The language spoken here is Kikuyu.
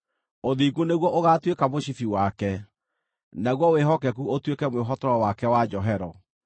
Ũthingu nĩguo ũgaatuĩka mũcibi wake, naguo wĩhokeku ũtuĩke mwĩhotoro wake wa njohero.